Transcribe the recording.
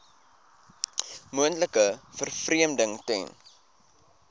moontlike vervreemding ten